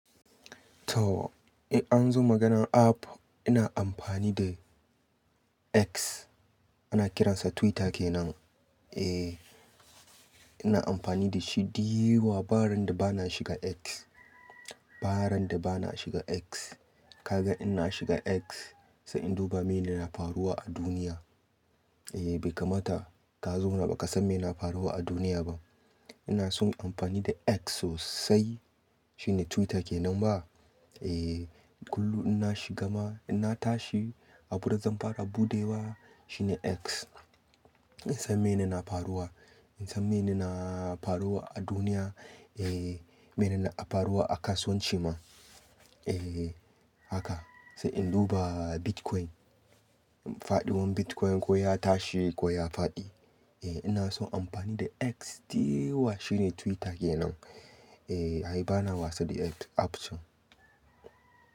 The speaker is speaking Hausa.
To, in an zo maganar app ina amfani da X ana kiransa Twitter kenan. Eh ina amfani da shi diyewa, ba randa bana shiga X. Ba rana da bana shiga X. Kaga ina shiga X sa'in duba mene na faruwa a duniya. Eh bai kamata ta zo na ba ka san mene na faruwa a duniya ba. Ina son amfani da X sosai shine Twitter kenan ba? Eh kullum in na shiga ma in na tashi abuda zan fara buɗewa shine X. In san mene na faruwa, in san mene na faruwa a duniya. Eh mene na faruwa a kasuwanci ma. Eh haka sai in duba Bitcoin, faɗiwan Bitcoin ko ya tashi ko ya faɗi. Eh ina son amfani da X diyewa shine Twitter kenan. Eh ai bana wasu da app can.